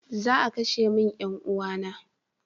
Za a kashe min 'yan uwana na.